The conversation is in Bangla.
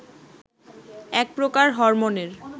এক প্রকার হরমোনের